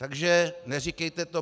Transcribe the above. Takže neříkejte to.